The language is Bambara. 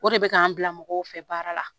O de bɛ k'an bila mɔgɔw fɛ, baara la.